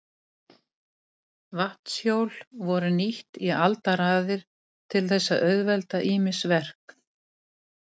Vatnshjól voru nýtt í aldaraðir til þess að auðvelda ýmis verk.